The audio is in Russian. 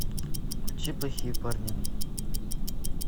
включи плохие парни